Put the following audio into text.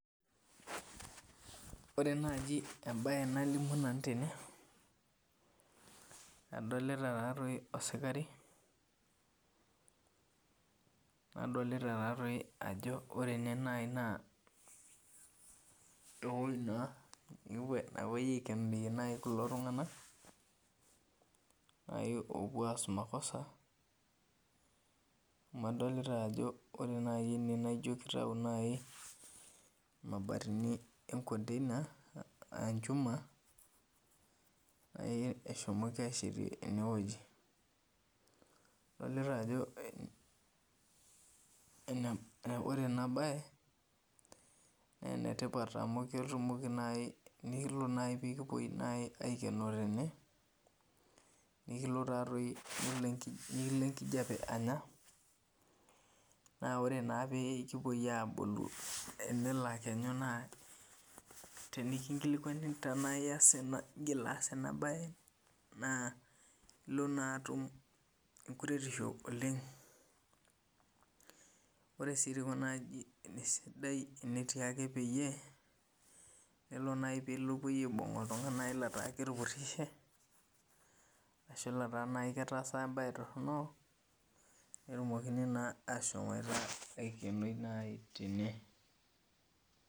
Ore naji embae nalimu tende adolita osikari nadolta ajo ore ene nai ewoi napuoi aikenie kulo tunganak opuo aas makosa amu adolta ajo ore ene ino kitau mabatini orkonteina enchuma eshomoki ashetie enewueji ore enabae na enetipat amu tenelo nai nikipuoi aikenoo tene naekilo enkijape anya na ore pikipuoi alaku tenikinkilikuani anaa igil aas enasia embae na ilo na atum ore si kuna ajijik na sidai amu kepuoi aipung metaa ketupurishe ashu nai ketaasa embae toronok petumokini nai ashomo aikenori tene.